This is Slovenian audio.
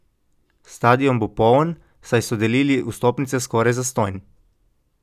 Stadion bo poln, saj so delili vstopnice skoraj zastonj.